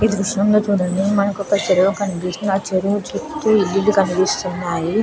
ఈ దృశ్యం లో చూడండి మనకి ఒక చెరువు కనిపిస్తుంది ఆ చెరువు చుట్టూ ఇల్లు కనిపిస్తున్నాయి.